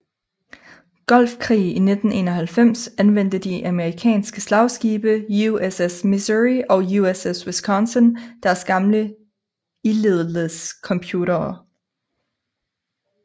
Golfkrig i 1991 anvendte de amerikanske slagskibe USS Missouri og USS Wisconsin deres gamle ildlledelsescomputere